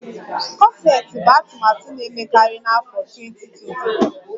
Kọseti bụ atụmatụ na-emekarị n'afọ 2023